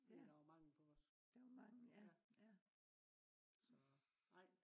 Der var mangel på os